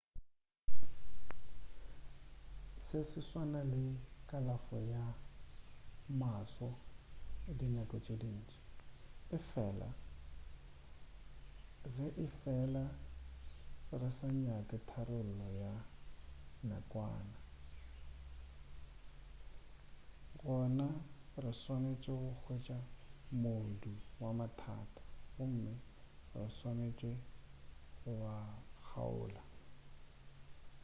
se se swana le kalafo ya maswo dinako tše dintši efela ge efela re sa nyake tharollo ya nakwana gona re swanetše go hwetša modu wa mathata gomme re swanetše go a kgaola